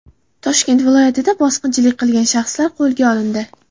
Toshkent viloyatida bosqinchilik qilgan shaxslar qo‘lga olindi.